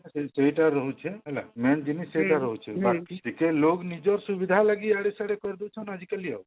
ସେଇଟା ରହୁଛି ହେଲା main ଜିନିଷ ସେଟା ରହୁଛି ବାକି ଟିକେ ଲୋଗ ନିଜର ସୁବିଧା ଲାଗି ଇୟାଡେ ସିଆଡେ କରି ଦଉଛନ ଆଜି କଲି ଆଉ